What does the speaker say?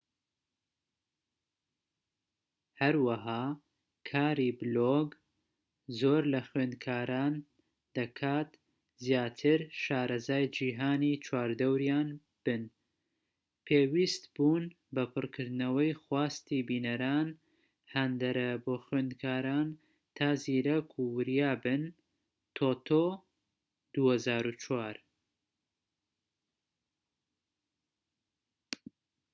هەروەها کاری بلۆگ زۆر لە خوێنکاران دەکات زیاتر شارەزای جیهانی چواردەوریان بن پێویستبوون بە پڕکردنەوەی خواستی بینەران هاندەرە بۆ خوێندکاران تا زیرەك و وریا بن تۆتۆ، ٢٠٠٤